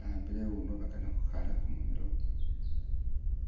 awambile iwunwa bakana khukhala kumumilo.